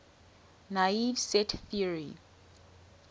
naive set theory